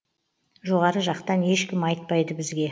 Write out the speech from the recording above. жоғары жақтан ешкім айтпайды бізге